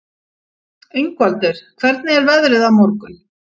Ingvaldur, hvernig er veðrið á morgun?